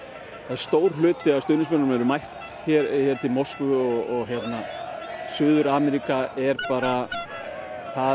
stór hluti af stuðningsmönnunum eru mættir til Moskvu og Suður Ameríka er bara það